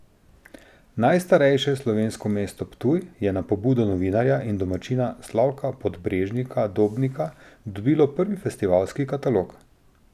Najstarejše slovensko mesto Ptuj je na pobudo novinarja in domačina Slavka Podbrežnika Dobnika dobilo prvi festivalski katalog.